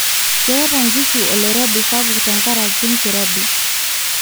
keeta nkishu oloirobi sapuk te nkaraki enkirobi